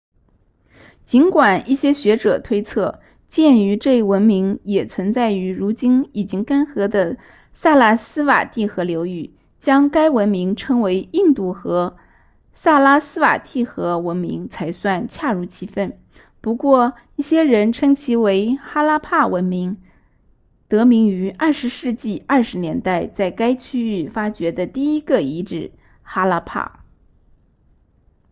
尽管一些学者推测鉴于这一文明也存在于如今已然干涸的萨拉斯瓦蒂河流域将该文明称为印度河萨拉斯瓦蒂河文明才算恰如其分不过一些人称其为哈拉帕文明得名于20世纪20年代在该区域发掘的第一个遗址哈拉帕